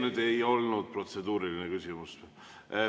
See ei olnud protseduuriline küsimus.